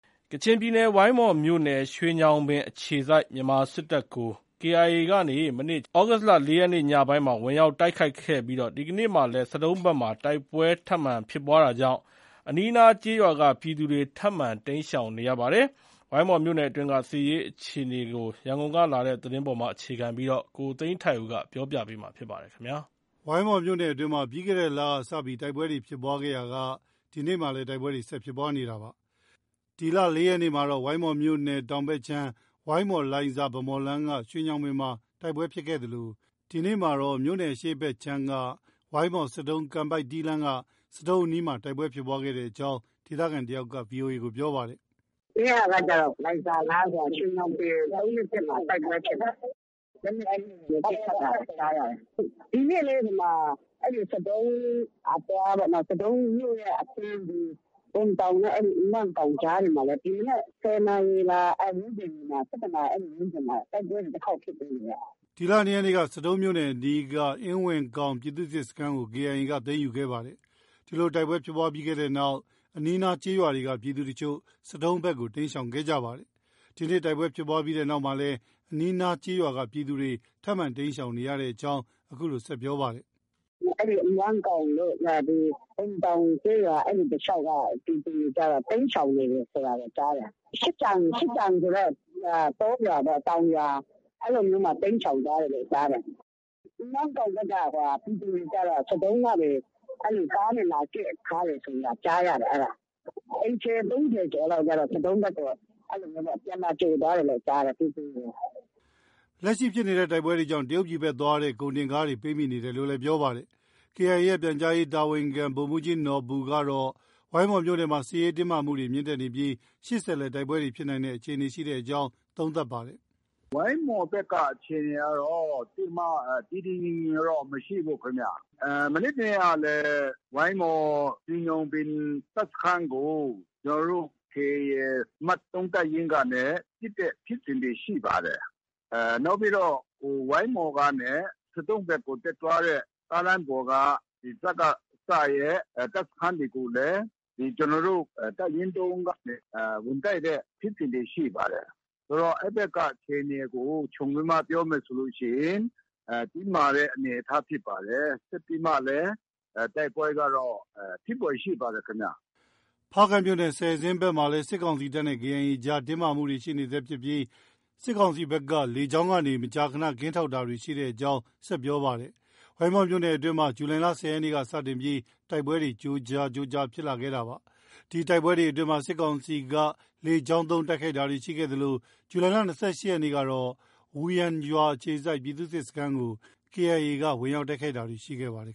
ကချင်ပြည်နယ် ဝိုင်းမော်မြို့နယ်၊ ရွှေညောင်ပင်အခြေစိုက် မြန်မာစစ်တပ်ကို KIA ကနေ မနေ့ သြဂုတ် ၄ ရက်နေ့ ညပိုင်း ဝင်ရောက်တိုက်ခိုက်ခဲ့ပြီး ဒီကနေ့မှာလည်း ဆဒုံးဘက်မှာ တိုက်ပွဲထပ်မံဖြစ်ပွားတာကြောင့် အနီး အနား ကျေးရွာက ပြည်သူတွေ ထပ်မံတိမ်းရှောင်နေရပါတယ်။ ဝိုင်းမော်မြို့နယ်အတွင်းက စစ်ရေးအခြေနေ ရန်ကုန်က သတင်းပေးပို့တာကို ကိုသိန်းထိုက်ဦးက တင်ပြပေးထားပါတယ်။ ဝိုင်းမော်မြို့နယ်အတွင်းမှာ ပြီးခဲ့တဲ့လက စတင်ပြီး တိုက်ပွဲတွေ ဖြစ်ပွားခဲ့ရာက ဒီကနေ့မှာလည်း တိုက်ပွဲတွေ ဆက်လက် ဖြစ်ပွားနေတာပါ။ ဒီလ ၄ ရက်နေ့ကတော့ ဝိုင်းမော်မြို့နယ် တောင်ဘက်ခြမ်း ဝိုင်းမော်-လိုင်ဇာ- ဗန်းမော်လမ်းက ရွှေညောင်ပင်မှာ တိုက်ပွဲဖြစ်ခဲ့သလို ဒီကနေ့မှတော့ မြို့နယ်အရှေ့ဘက်ခြမ်းက ဝိုင်းမော် -ဆဒုံး-ကန်ပိုက်တီးလမ်းက ဆဒုံးအနီးမှာ တိုက်ပွဲဖြစ်ပွားခဲ့ကြောင်း ဒေသခံတဦးက VOA ကို ပြောပါတယ်။ “မနေ့ကကျတော့ လိုင်ဇာလမ်းမှာ ရွှေညောင်ပင် ၃၂၁ မှာ တိုက်ပွဲဖြစ်တယ်။ လက်နက်ကြီးတွေ ပစ်ခတ်တာ ကြားရတယ်။ ဒီနေ့လည်း ဆဒုံးအသွားပေါ့။ ဆဒုံးမြို့ရဲ့အဆင်း ဘွမ်ထောင်နဲ့ အင်ဝမ်းကောင် ကြားမှာလည်း ဒီမနက် ၁၀ နာရီလား အဲဒီဝန်းကျင်မှာ ၁၁ နာရီ အဲဒီဝန်းကျမှာ တိုက်ပွဲ တခေါက်ဖြစ်တယ်။” ဒီလ ၂ ရက်နေ့က ဆဒုံးမြို့အနီးရှိ အင်ဝမ်းကောင် ပြည်သူ့စစ်စခန်းကို KIA က သိမ်းယူခဲ့ပါတယ်။ ဒီလို တိုက်ပွဲဖြစ်ပွားတဲ့နောက် အနီးအနားကျေးရွာက ပြည်သူအချို့ ဆဒုံးဘက်ကို တိမ်းရှောင်ခဲ့ကြရပါတယ်။ ဒီနေ့ တိုက်ပွဲဖြစ်ပြီးနောက်မှာလည်း အနီးအနားကျေးရွာက ပြည်သူတွေ ထပ်မံတိမ်းရှောင်နေရကြောင်း အခုလို ဆက်ပြောပါတယ်။ “အဲဒီ အင်ဝမ်းကောင်တို့၊ ဘွမ်တောင်ကျေးရွာ အဲဒီတလျှောက်က ပြည်သူတွေကျတော့ တိမ်းရှောင်နေတယ်ဆိုတာ ကြားတယ်။ ရှစ်ကျန်ဆိုတဲ့ တောရွာပေါ့။ တောင်ယာ အဲဒါမျိုးမှာ တိမ်းရှောင်သွားတယ်လို့ ကြားတယ်။ အင်ဝမ်းကောင်ဘက်က ပြည်သူတွေကျတော့ ဆဒုံးကနေ ကားနဲ့လာကဲ့ထားတယ်ဆိုတာ ကြားရတယ်။ အိမ်ခြေ ၃၀ ကျော်ကျတော့ ဆဒုံးဘက်ကို ပြန်လာကြိုသွားတယ်လို့ ကြားတယ်။” လက်ရှိဖြစ်တဲ့တိုက်ပွဲတွေကြောင့် တရုတ်ပြည်ဘက်သွားတဲ့ ကုန်တင်ကားတွေ ပိတ်မိနေတယ်လို့လည်း ပြောပါတယ်။ KIA ရဲ့ ပြန်ကြားရေး တာဝန်ခံ ဗိုလ်မှူးကြီးနော်ဘူကတော့ ဝိုင်းမော်မြို့နယ်မှာ စစ်ရေးတင်းမာမှုတွေ မြင့်တက်နေပြီး ရှေ့ဆက်လည်း တိုက်ပွဲတွေ ဖြစ်နိုင်တဲ့အခြေအနေ ရှိကြောင်း သုံးသပ်ပါတယ်။ “ဝိုင်းမော်ဘက်က အခြေအနေကတော့ သိပ်ပြီး တည်တည်ငြိမ်ငြိမ်တော့ မရှိဘူးခင်ဗျ။ မနေ့ တနေ့ကလည်း ဝိုင်းမော် ရွှေညောင်ပင် တပ်စခန်းကို ကျနော်တို့ KIA အမှတ် ၃ တပ်ရင်းကနေ ပစ်တဲ့ ဖြစ်စဉ်တွေ ရှိပါတယ်။ နောက်ပြီးတော့ ဝိုင်းမော်ကနေ ဆဒုံးဘက်ကို တက်သွားတဲ့ ကားလမ်းပေါ်က စကစရဲ့ တပ်စခန်းတွေကိုလည်း ကျနော်တို့ တပ်ရင်း ၃ ကနေ ဝင်တိုက်တဲ့ ဖြစ်စဉ်တွေ ရှိပါတယ်။ ဆိုတော့ အဲဒီဘက်က အခြေအနေကို ခြုံပြီးတော့ ပြောမယ်ဆိုရင် တင်းမာတဲ့အနေအထားဖြစ်ပါတယ်။ ဆက်ပြီးမှလည်း တိုက်ပွဲကတော့ ဖြစ်ဖွယ်ရှိပါတယ်ခင်ဗျ။” ဖားကန့်မြို့နယ် ဆယ်ဇင်းဘက်မှာလည်း စစ်ကောင်စီတပ်နဲ့ KIA အကြား တင်းမာမှုတွေ ရှိနေဆဲရှိပြီး စစ်ကောင်စီဘက်က လေကြောင်းကနေ မကြာခန ကင်းထောက်တာတွေ ရှိနေကြောင်း ဆက် ပြောပါတယ်။ ဝိုင်းမော်မြို့နယ်အတွင်းမှာ ဇူလိုင်လ ၁၀ ရက်နေ့က စတင်ပြီး တိုက်ပွဲတွေ ကြိုးကြား ဖြစ်လာခဲ့တာပါ။ ဒီတိုက်ပွဲအတွင်းမှာ စစ်ကောင်စီက လေကြောင်းသုံးတိုက်ခိုက်တာတွေ ရှိခဲ့သလို ဇူလိုင်လ ၂၈ ရက်နေ့ကတော့ ဝူယန်ရွာအခြေစိုက် ပြည်သူ့စစ်စခန်းကို KIA က ဝင်ရောက်တိုက်ခိုက်တာတွေ့ရှိခဲ့ပါတယ်